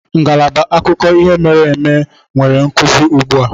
Ngalaba akụkọ ihe mere eme nwere nkuzi ugbu a.